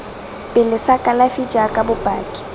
pele sa kalafi jaaka bopaki